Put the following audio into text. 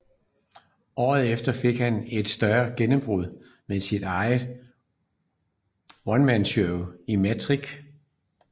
Året efter fik han et større gennembrud med sit eget onemanshow Micktrix